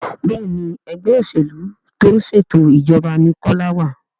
Béèni Ẹgbẹ́ òṣèlú tó ń ṣètò ìjọba ní Kola wá.